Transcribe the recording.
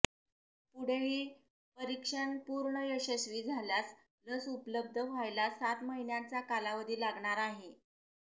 पुढेही परिक्षण पुर्ण यशस्वी झाल्यास लस उपलब्ध व्हायला सात महिन्यांचा कालावधी लागणार आहे